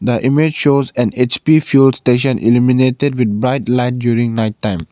the image shows an H_P fuel station eliminated with bright light during night time.